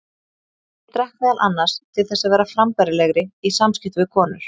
Ég drakk meðal annars til þess að vera frambærilegri í samskiptum við konur.